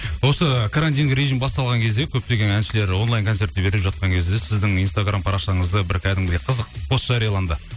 осы карантин режим басталған кезде көптеген әншілер онлайн концертті беріп жатқан кезде сіздің инстаграм парақшаңызда бір кәдімгідей қызық пост жарияланды